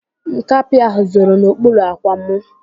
Nkapị ahụ zoro n'okpuru ạ̀kwạ̀ mụ.